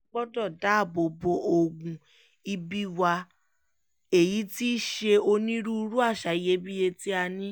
a gbọ́dọ̀ dáàbò bo ogún-ibì wa èyí tí í ṣe onírúurú àṣà iyebíye tí a ní